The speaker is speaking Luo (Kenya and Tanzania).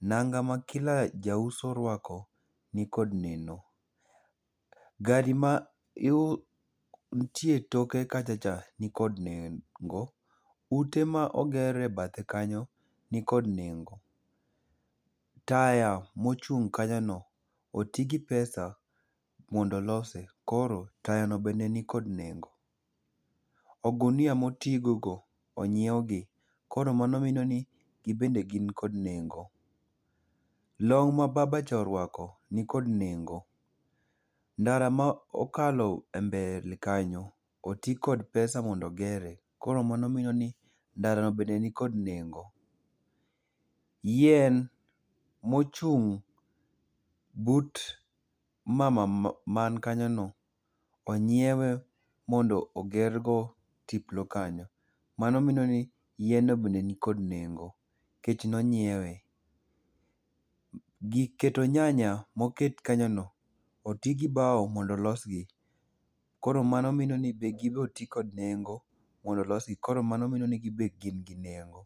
Nanga ma kila jauso orwako nikod nengo. gari mantie toke kachacha nikod nengo. Ute ma oger e bathe kanyo nikod nengo. Taya mochung' kanyono, oti gi pesa mondo olose, koro tayano bende nikod nengo. Ogunia moti gogo onyiewgi, koro mano minoni gibende gin kod nengo. Long ma babacha orwako nikod nengo. Ndara ma okalo e mbele kanyo, oti kod pesa mondo ogere. Koro mano mino ni ndara no bende nikod nengo. Yien mochung' but mama man kanyono, onyiewe mondo ogergo tiplo kanyo, mano mino ni yienno bende nikod nengo nikech ne onyiewe. Gir keto nyanya moket kanyono, oti gi bawo mondo olosgi, koro mano mino ni be, gibe oti kod nengo mondo olosgi, koro mano mino ni gibe gin gi nengo.